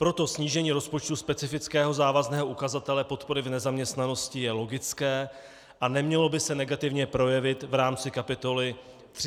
Proto snížení rozpočtu specifického závazného ukazatele podpory v nezaměstnanosti je logické a nemělo by se negativně projevit v rámci kapitoly 313 MPSV.